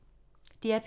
DR P3